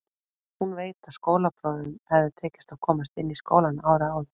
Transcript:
Hún veit að skólabróður hafði tekist að komast inn í skólann árið áður.